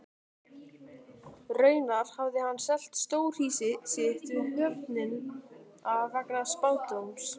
Raunar hafði hann selt stórhýsi sitt við höfnina vegna spádóms.